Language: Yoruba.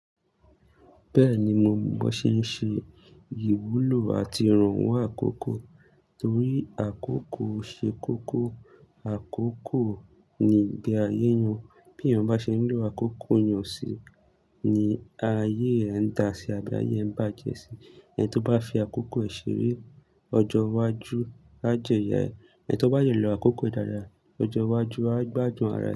Bẹ́ẹ̀ni, mo ma ban ṣe ń ṣe ìwúlò àti ìrànwọ́ àkókò torí àkókò ṣe kókó. Àkókò ni ìgbé ayé èèyàn, bí èèyàn bá ṣe ń lò àkókò yàn sí ni ayé rẹ̀ ń dà sí abi ayé ń bàjẹ́ sí. Ẹni tí ó bá fi àkókò ṣeré, ọjọ́ iwájú á jẹ iyà ẹ. Ẹni tí ó bá dẹlò àkókò dáadáa, ọjọ́ iwájú á gbádùn ara ẹ.